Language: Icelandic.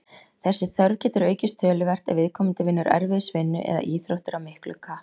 Þessi þörf getur aukist töluvert ef viðkomandi vinnur erfiðisvinnu eða æfir íþróttir af miklu kappi.